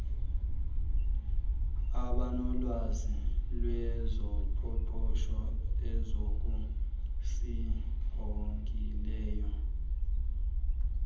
abanolwazi lwezoqoqosho ezokusingqongileyo